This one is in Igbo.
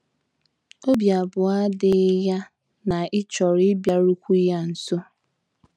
Obi abụọ adịghị ya na ị chọrọ ịbịarukwu ya nso.